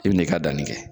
I bi n'i ka danni kɛ